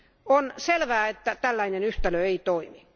On selvää, että tällainen yhtälö ei toimi.